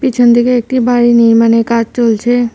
পিছন দিকে একটি বাড়ি নির্মাণের কাজ চলছে।